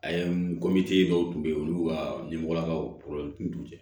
A ye dɔw tun bɛ yen olu ka ɲɛmɔgɔlakaw tun